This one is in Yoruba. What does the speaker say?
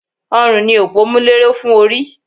Ọrùn ni òpómúléró fún orí